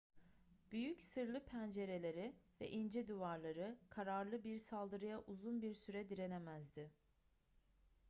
büyük sırlı pencereleri ve ince duvarları kararlı bir saldırıya uzun bir süre direnemezdi